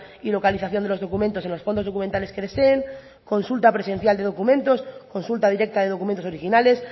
y localización de los documentos en los fondos documentales que deseen consulta presencial de documentos consulta directa de documentos originales